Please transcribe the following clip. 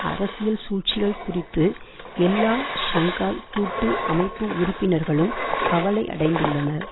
அரசியல் சூழ்ச்சிகள் குறித்து எல்லா ஷங்காய் கூட்டு அமைப்பு உறுப்பினர்களும் கவலையடைந்துள்ளனர்